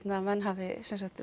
menn hafi